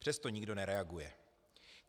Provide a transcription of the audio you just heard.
Přesto nikdo nereaguje.